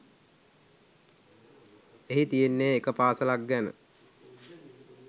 එහි තියෙන්නේ එක පාසලක් ගැන